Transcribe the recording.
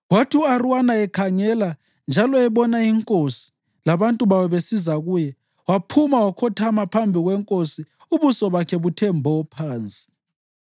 Kwathi u-Arawuna ekhangela njalo ebona inkosi labantu bayo besiza kuye, waphuma wakhothama phambi kwenkosi ubuso bakhe buthe mbo phansi.